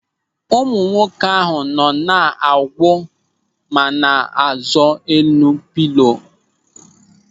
Ụmụ nwoke ahụ nọ na-awu ma na-azọ n'elu pịlo ọwuwu ahụ.